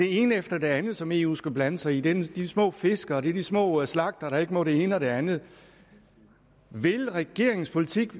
ene efter det andet som eu skal blande sig i det er de små fiskere og det er de små slagtere der ikke må det ene og det andet vil regeringens politik